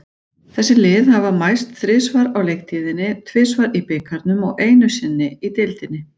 Þessi lið hafa mæst þrisvar á leiktíðinni, tvisvar í bikarnum og einu sinni í deildinni.